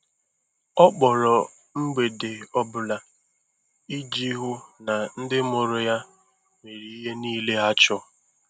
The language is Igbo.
Ọ kpọrọ mgbede ọ bụla iji hụ na ndị mụrụ ya nwere ihe niile ha chọrọ.